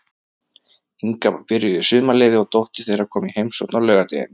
Inga var byrjuð í sumarleyfi og dóttir þeirra kom í heimsókn á laugardeginum.